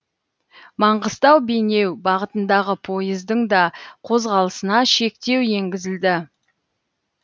маңғыстау бейнеу бағытындағы пойыздың да қозғалысына шектеу енгізілді